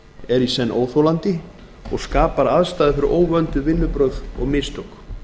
er í senn óþolandi og skapar aðstæður fyrir óvönduð vinnubrögð og mistök